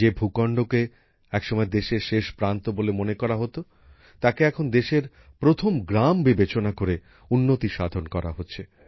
যে ভূখণ্ডকে একসময় দেশের শেষ প্রান্ত বলে মনে করা হতো তাকে এখন দেশের প্রথম গ্রাম বিবেচনা করে উন্নতি সাধন করা হচ্ছে